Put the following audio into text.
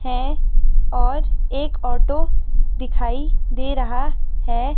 है और एक ऑटो दिखाई दे रहा है।